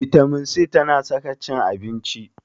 Bitamin c ta na saka cin abinci.